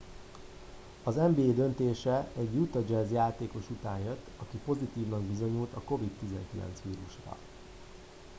az nba döntése egy utah jazz játékos után jött aki pozitívnak bizonyult a covid-19 vírusra